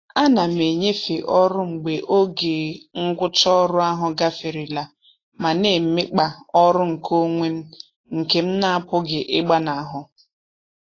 A na m enyefe ọrụ mgbe oge ngwụcha ọrụ ahụ gaferela ma na-emekpa ọrụ nkeonwe m nke m n'apụghị ịgbanahụ.